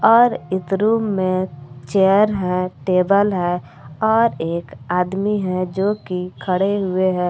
और इस रूम मे चेयर है टेबल है और एक आदमी है जो की खड़े हुए हैं।